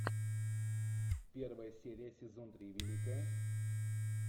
первая серия сезон три великая